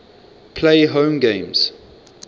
play home games